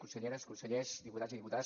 conselleres consellers diputats i diputades